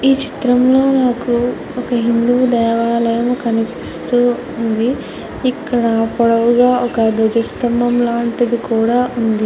ఈ చిత్రంలో నాకు ఒక హిందూ దేవాలయం కనిపిస్తుంది. ఇక్కడ పొడవుగా ఒక ధ్వజస్తంభము లాంటిది కూడా ఉంది.